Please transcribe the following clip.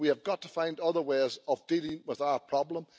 We have got to find other ways of dealing with the problem.